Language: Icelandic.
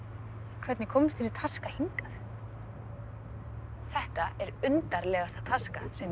hvernig komst þessi taska hingað þetta er undarlegasta taska sem